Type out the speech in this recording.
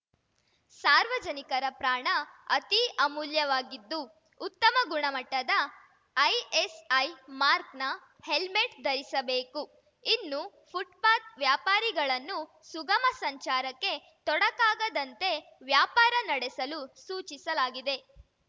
ಸಾರ್ವಜನಿಕರ ಪ್ರಾಣ ಅತೀ ಅಮೂಲ್ಯವಾಗಿದ್ದು ಉತ್ತಮ ಗುಣಮಟ್ಟದ ಐಎಸ್‌ಐ ಮಾಕ್‌ರ್‍ನ ಹೆಲ್ಮೆಟ್‌ ಧರಿಸಬೇಕು ಇನ್ನು ಫುಟ್‌ಪಾತ್‌ ವ್ಯಾಪಾರಿಗಳನ್ನು ಸುಗಮ ಸಂಚಾರಕ್ಕೆ ತೊಡಕಾಗದಂತೆ ವ್ಯಾಪಾರ ನಡೆಸಲು ಸೂಚಿಸಲಾಗಿದೆ